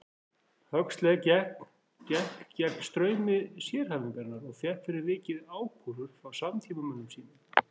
Huxley gekk gegn straumi sérhæfingarinnar og fékk fyrir vikið ákúrur frá samtímamönnum sínum.